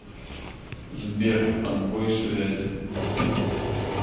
сбер отбой связи